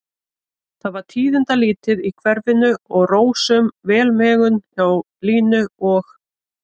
Það var tíðindalítið í hverfinu og rósöm velmegun hjá Línu og